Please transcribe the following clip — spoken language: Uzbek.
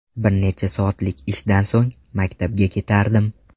Bir necha soatlik ishdan so‘ng maktabga ketardim.